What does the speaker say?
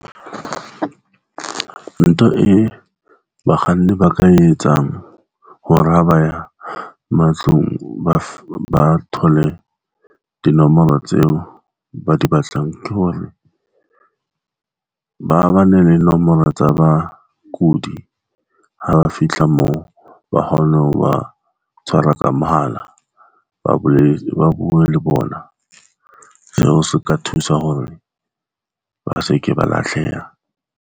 Ntho e bakganni ba ka etsang hore ha ba ya matlung, ba thole dinomoro tseo ba di batlang, ke hore ba ne le nomoro tsa bakudi. Ha ba fihla moo, ba kgone ho ba tshwara ka mohala, ba bolwetse, ba bue le bona. Seo se ka thusa hore ba seke ba lahleha.